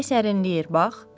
Külək sərinləyir, bax.